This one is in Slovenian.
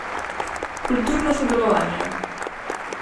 Kulturno sodelovanje.